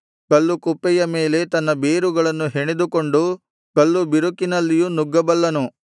ಕಲ್ಲು ಕುಪ್ಪೆಯ ಮೇಲೆ ತನ್ನ ಬೇರುಗಳನ್ನು ಹೆಣೆದುಕೊಂಡು ಕಲ್ಲುಬಿರುಕಿನಲ್ಲಿಯೂ ನುಗ್ಗಬಲ್ಲನು